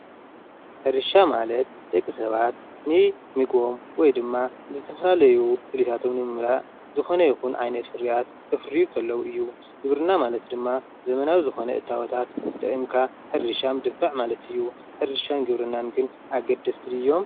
ሕርሻ ማለት ደቂ ሰባት ንምግቦም ወይ ድማ ዝተፈላለዩ ድሌታቶም ንምምላእ ዝኾነ ይኹን ዓይነት ፍርያት ከፍርዩ ከለው እዩ። ግብርና ማለት ድማ ዘመናዊ ዝኾነ እታወታት ተጠቒምካ ሕርሻ ምድፋዕ ማለት እዩ። ሕርሻን ግብርናን ግን ኣገደስቲ ድዮም?